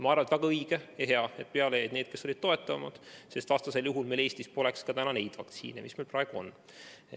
Ma arvan, et on väga õige ja hea, et peale jäid need, kes olid toetavamad, sest vastasel juhul poleks meil Eestis täna neidki vaktsiine, mis meil praegu on.